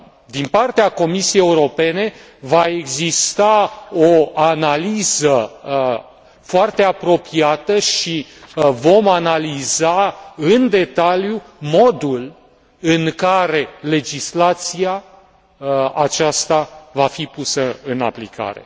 din partea Comisiei Europene va exista o analiză foarte apropiată și vom analiza în detaliu modul în care legislația aceasta va fi pusă în aplicare.